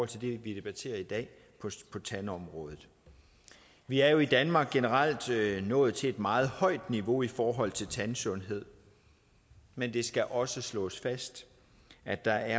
til det vi debatterer i dag på tandområdet vi er jo i danmark generelt nået til et meget højt niveau i forhold til tandsundhed men det skal også slås fast at der